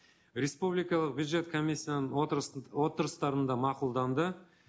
республикалық бюджет комиссияның отырыстарында мақұлданды